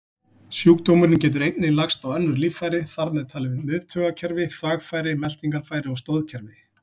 Sjúkdómurinn getur einnig lagst á önnur líffæri, þar með talið miðtaugakerfi, þvagfæri, meltingarfæri og stoðkerfi.